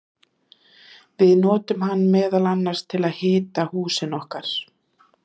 við notum hann meðal annars til að hita húsin okkar!